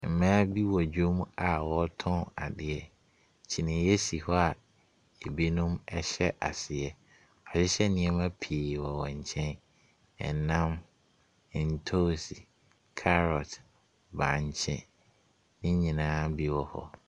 Mmaa bi wɔ dwom a ɔretɔn adeɛ. kyiniiɛ si hɔ a ebinom hyɛ aseɛ. Wɔahyehyɛ nnoɔma pii wɔ nkyɛn; ɛnam, ntos, carrot, bankye, ne nyinaa bi wɔ hɔ.